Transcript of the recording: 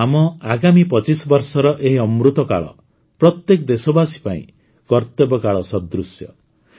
ତେଣୁ ଆମ ଆଗାମୀ ୨୫ ବର୍ଷର ଏହି ଅମୃତକାଳ ପ୍ରତ୍ୟେକ ଦେଶବାସୀ ପାଇଁ କର୍ତବ୍ୟକାଳ ସଦୃଶ